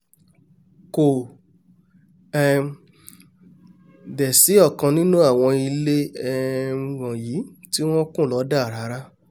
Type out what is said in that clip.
kò um dẹ̀ sí ọ̀kan nínú àwọn ilé um wọ̀nyí tí wọ́n kùn lọ́dà rárá